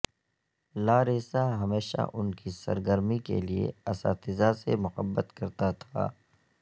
Larissa ہمیشہ ان کی سرگرمی کے لئے اساتذہ سے محبت کرتا تھا